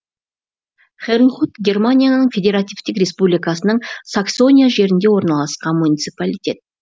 хернхут германияның федеративтік республикасының саксония жерінде орналасқан муниципалитет